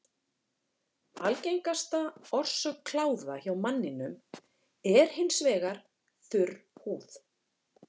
Algengasta orsök kláða hjá manninum er hins vegar þurr húð.